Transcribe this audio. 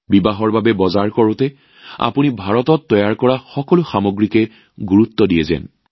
বিয়াৰ বজাৰ কৰাৰ সময়ত আপোনালোক সকলোৱে কেৱল ভাৰতত নিৰ্মিত সামগ্ৰীক গুৰুত্ব দিব লাগে